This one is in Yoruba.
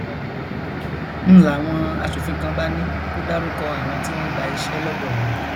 ń láwọn aṣòfin kan bá ní kó dárúkọ àwọn tí wọn gba iṣẹ lọdọ wọn